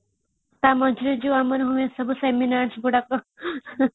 ଟା ମଝିରେ ଜୋଉ ଆମର ହୁଏ ସବୁ seminars ଗୁଡାକ